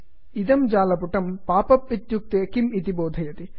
इदं जालपुटं pop up इत्युक्ते किम् इति बोधयति